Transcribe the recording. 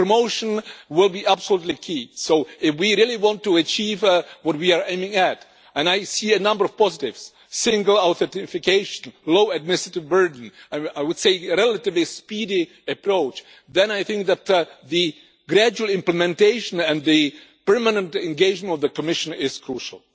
Promotion will be absolutely key, so if we really want to achieve what we are aiming at and I see a number of positives single authentication, low administrative burden and a relatively speedy approach then I think that gradual implementation and the permanent engagement of the Commission is crucial.